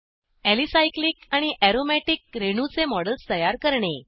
alicyclic आणि aromatic रेणूंचे models तयार करणे